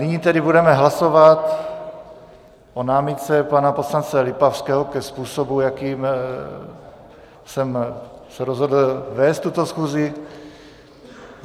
Nyní tedy budeme hlasovat o námitce pana poslance Lipavského ke způsobu, jakým jsem se rozhodl vést tuto schůzi.